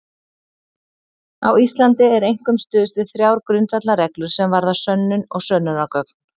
Á Íslandi er einkum stuðst við þrjár grundvallarreglur sem varða sönnun og sönnunargögn.